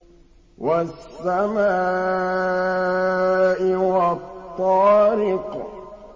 وَالسَّمَاءِ وَالطَّارِقِ